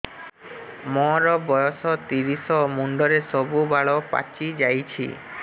ମୋର ବୟସ ତିରିଶ ମୁଣ୍ଡରେ ସବୁ ବାଳ ପାଚିଯାଇଛି